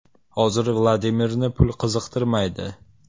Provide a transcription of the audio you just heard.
Hozir Vladimirni pul qiziqtirmaydi.